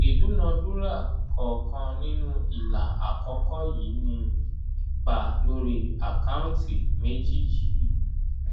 ìdúnàdúràá kọ̀ọ̀kan nínú ilà àkọ́kọ́ yìí ni ipa lórí àkáǹtì méjì yìí.